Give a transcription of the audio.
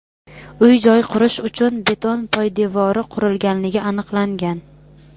uy-joy qurish uchun beton poydevori qurganligi aniqlangan.